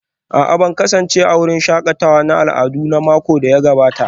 A'a ban kasance a wurin shakatawar al'adu a makon da ya gabata